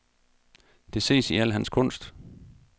Det ses i al hans kunst.